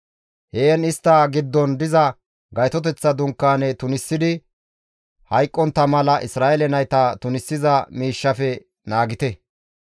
«Heen istta giddon diza Gaytoteththa Dunkaane tunisidi hayqqontta mala Isra7eele nayta tunisiza miishshafe naagite.»